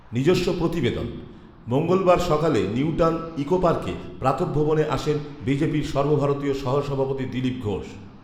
নিজস্ব প্রতিবেদন মঙ্গলবার সকালে নিউটাউন ইকোপার্কে প্রাতঃভ্রমণে আসেন বিজেপির সর্বভারতীয় সহ সভাপতি দিলীপ ঘোষ